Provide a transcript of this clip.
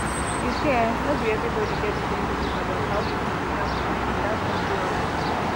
you see[um]no be everybody get the same belief about how healing dey happenand that one dey alright